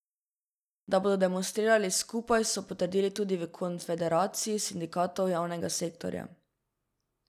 Da bodo demonstrirali skupaj, so potrdili tudi v konfederaciji sindikatov javnega sektorja.